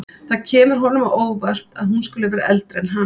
Það kemur honum á óvart að hún skuli vera eldri en hann.